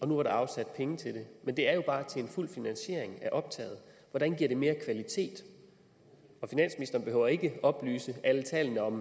nu var afsat penge til det men det er jo bare til en fuld finansiering af optaget hvordan giver det mere kvalitet og finansministeren behøver ikke oplyse alle tallene om